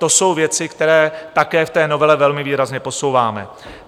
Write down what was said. To jsou věci, které také v té novele velmi výrazně posouváme.